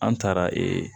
An taara ee